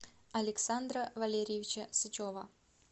александра валерьевича сычева